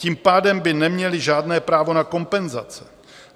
Tím pádem by neměli žádné právo na kompenzace.